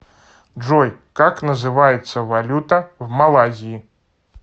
джой как называется валюта в малайзии